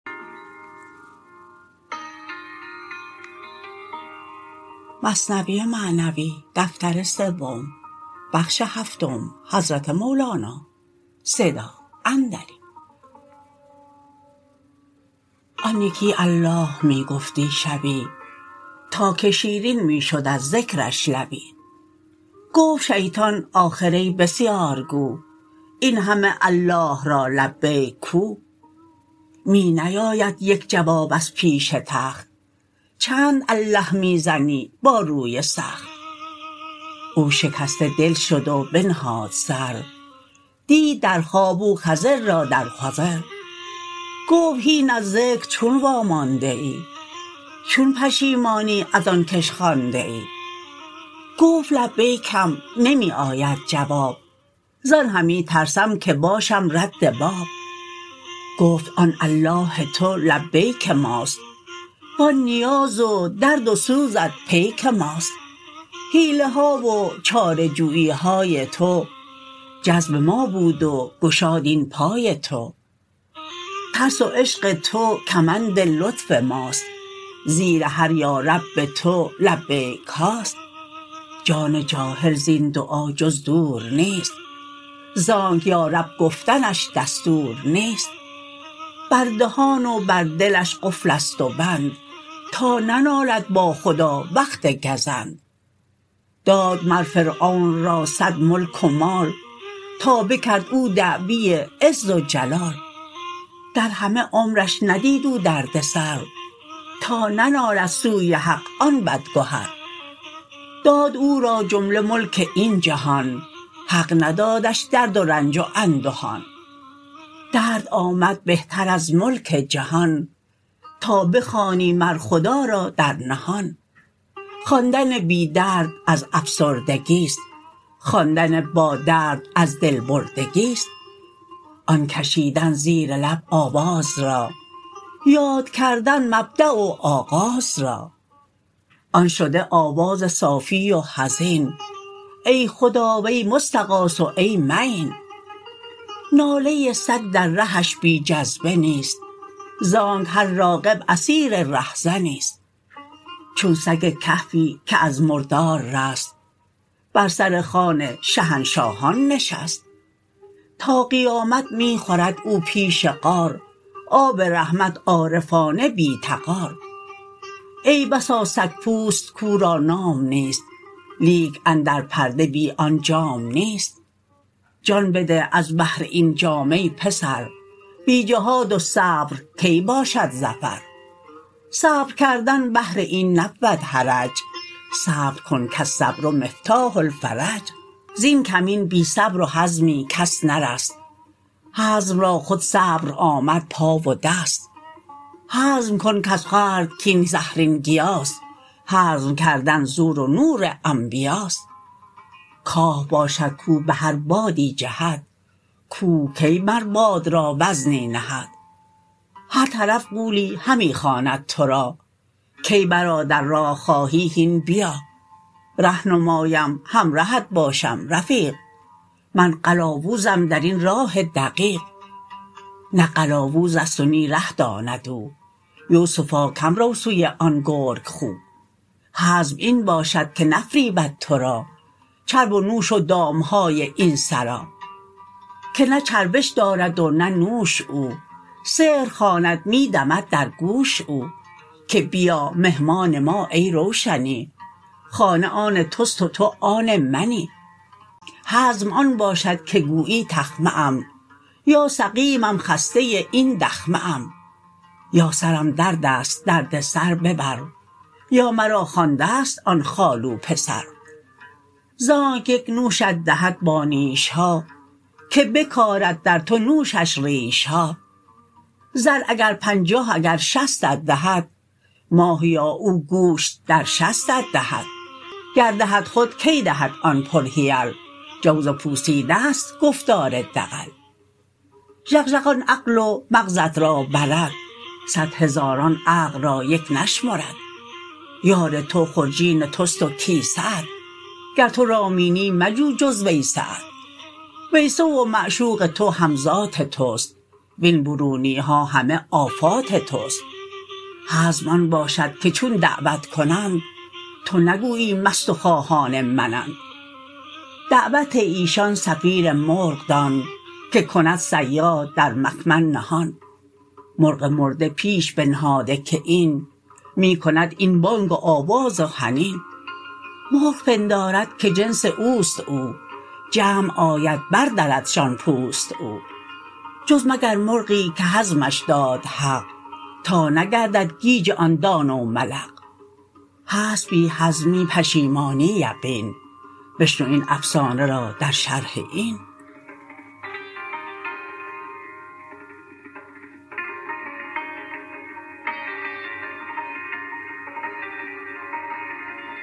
آن یکی الله می گفتی شبی تا که شیرین می شد از ذکرش لبی گفت شیطان آخر ای بسیارگو این همه الله را لبیک کو می نیاید یک جواب از پیش تخت چند الله می زنی با روی سخت او شکسته دل شد و بنهاد سر دید در خواب او خضر را در خضر گفت هین از ذکر چون وا مانده ای چون پشیمانی از آن که ش خوانده ای گفت لبیکم نمی آید جواب زان همی ترسم که باشم رد باب گفت آن الله تو لبیک ماست و آن نیاز و درد و سوزت پیک ماست حیله ها و چاره جویی های تو جذب ما بود و گشاد این پای تو ترس و عشق تو کمند لطف ماست زیر هر یا رب تو لبیک هاست جان جاهل زین دعا جز دور نیست زانک یا رب گفتنش دستور نیست بر دهان و بر دلش قفل است و بند تا ننالد با خدا وقت گزند داد مر فرعون را صد ملک و مال تا بکرد او دعوی عز و جلال در همه عمرش ندید او درد سر تا ننالد سوی حق آن بدگهر داد او را جمله ملک این جهان حق ندادش درد و رنج و اندهان درد آمد بهتر از ملک جهان تا بخوانی مر خدا را در نهان خواندن بی درد از افسردگی ست خواندن با درد از دل بردگی ست آن کشیدن زیر لب آواز را یاد کردن مبدأ و آغاز را آن شده آواز صافی و حزین ای خدا وی مستغاث و ای معین ناله سگ در رهش بی جذبه نیست زانک هر راغب اسیر ره زنی ست چون سگ کهفی که از مردار رست بر سر خوان شهنشاهان نشست تا قیامت می خورد او پیش غار آب رحمت عارفانه بی تغار ای بسا سگ پوست کاو را نام نیست لیک اندر پرده بی آن جام نیست جان بده از بهر این جام ای پسر بی جهاد و صبر کی باشد ظفر صبر کردن بهر این نبود حرج صبر کن کالصبر مفتاح الفرج زین کمین بی صبر و حزمی کس نرست حزم را خود صبر آمد پا و دست حزم کن از خورد کاین زهرین گیا ست حزم کردن زور و نور انبیا ست کاه باشد کو به هر بادی جهد کوه کی مر باد را وزنی نهد هر طرف غولی همی خواند تو را کای برادر راه خواهی هین بیا ره نمایم همرهت باشم رفیق من قلاووزم درین راه دقیق نه قلاوز ست و نه ره داند او یوسفا کم رو سوی آن گرگ خو حزم این باشد که نفریبد تو را چرب و نوش و دام های این سرا که نه چربش دارد و نه نوش او سحر خواند می دمد در گوش او که بیا مهمان ما ای روشنی خانه آن تست و تو آن منی حزم آن باشد که گویی تخمه ام یا سقیمم خسته این دخمه ام یا سرم دردست درد سر ببر یا مرا خوانده ست آن خالو پسر زانک یک نوشت دهد با نیش ها که بکارد در تو نوشش ریش ها زر اگر پنجاه اگر شصتت دهد ماهیا او گوشت در شستت دهد گر دهد خود کی دهد آن پر حیل جوز پوسیده ست گفتار دغل ژغژغ آن عقل و مغزت را برد صد هزاران عقل را یک نشمرد یار تو خرجین تست و کیسه ات گر تو رامینی مجو جز ویسه ات ویسه و معشوق تو هم ذات تست وین برونی ها همه آفات تست حزم آن باشد که چون دعوت کنند تو نگویی مست و خواهان منند دعوت ایشان صفیر مرغ دان که کند صیاد در مکمن نهان مرغ مرده پیش بنهاده که این می کند این بانگ و آواز و حنین مرغ پندارد که جنس اوست او جمع آید بر دردشان پوست او جز مگر مرغی که حزمش داد حق تا نگردد گیج آن دانه و ملق هست بی حزمی پشیمانی یقین بشنو این افسانه را در شرح این